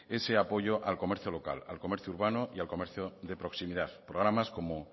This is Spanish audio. ese apoyo al comercio local al comercio urbano y al comercio de proximidad programas como